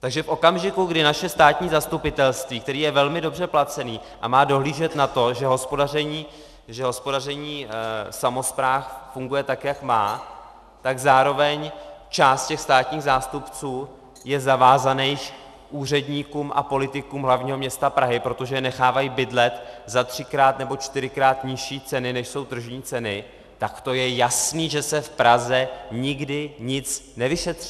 Takže v okamžiku, kdy naše státní zastupitelství, které je velmi dobře placené a má dohlížet na to, že hospodaření samospráv funguje tak, jak má, tak zároveň část těch státních zástupců je zavázaná úředníkům a politikům hlavního města Prahy, protože je nechávají bydlet za třikrát nebo čtyřikrát nižší ceny, než jsou tržní ceny, tak to je jasné, že se v Praze nikdy nic nevyšetří!